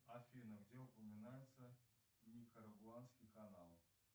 афина где упоминается никарагуанский канал